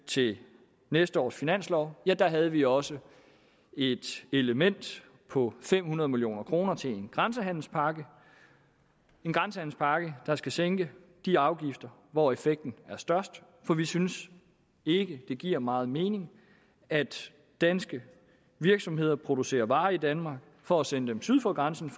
til næste års finanslov havde vi også et element på fem hundrede million kroner til en grænsehandelspakke en grænsehandelspakke der skal sænke de afgifter hvor effekten er størst for vi synes ikke at det giver meget mening at danske virksomheder producerer varer i danmark for at sende dem syd for grænsen